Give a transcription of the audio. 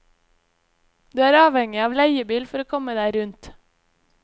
Du er avhengig av leiebil for å komme deg rundt.